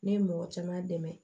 Ne ye mɔgɔ caman dɛmɛ